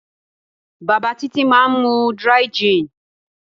Bàbá Títí máa ń mu dry-gin.